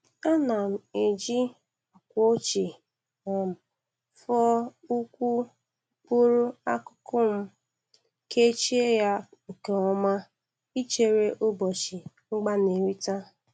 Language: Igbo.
Ana m eji akw.ochie um fụọ ukwu mkụrụ akụkụ m, kechie y nke oma ichere ụbọchị.mgbanerịta.